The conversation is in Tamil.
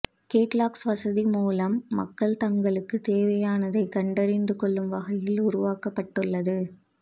கேட்லாக்ஸ் வசதி மூலம்மக்கள் தங்களுக்குத் தேவையானதைக் கண்டறிந்து கொள்ளும் வகையில் உருவாக்கப்பட்டுள்ளது